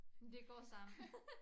Men det går sammen